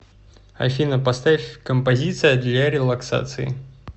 афина поставь композиция для релаксации